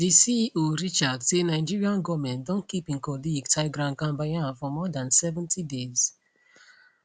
di ceo richard say nigeria goment don keep im colleague tigran gambaryan for more dan 70 days